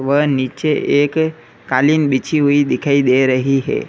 व नीचे एक कालीन बिछी हुई दिखाई दे रही है।